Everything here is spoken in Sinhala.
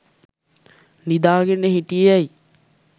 නිදා ගෙන හිටියේ ඇයි?